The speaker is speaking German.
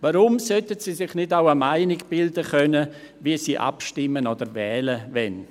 Warum sollten sie sich nicht auch eine Meinung bilden können, wie sie abstimmen oder wählen wollen?